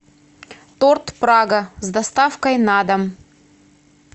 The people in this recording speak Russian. торт прага с доставкой на дом